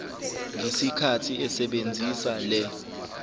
ngesikhathi esebenzisa le